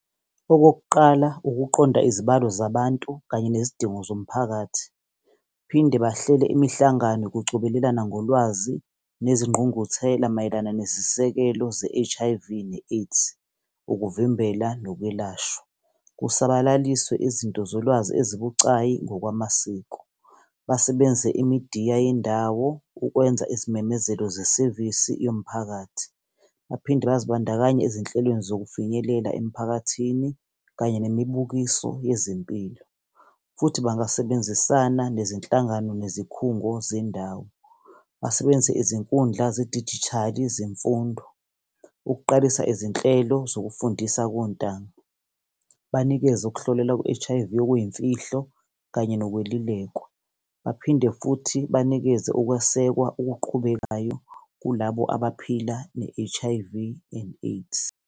Okokuqala, ukuqonda izibalo zabantu kanye nezidingo zomphakathi, phinde bahlele imihlangano yokucobelelana ngolwazi nezingqungquthela mayelana nesisekelo se-H_I_V ne-AIDS. Ukuvimbela nokwelashwa, kusabalaliswe izinto zolwazi ezibucayi. ngokwamasiko, basebenze imidiya yendawo ukwenza izimemezelo sesevisi yomphakathi. Baphinde bazibandakanye ezinhlelweni zokufinyelela emiphakathini kanye nemibukiso yezempilo. Futhi bangasebenzisana nezinhlangano nezikhungo zendawo. Basebenzise izinkundla zedijithali zemfundo ukuqalisa izinhlelo zokufundisa kontanga. Banikeze ukuhlolelwa kwe-H_I_V okuyimfihlo kanye nokwelulekwa, baphinde futhi banikeze ukwesekwa okuqhubekayo kulabo abaphila ne-H_I_V and AIDS.